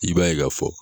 I b'a ye ka fɔ